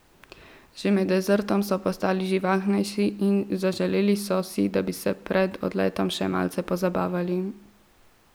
Že med desertom so postali živahnejši in zaželeli so si, da bi se pred odletom še malce pozabavali.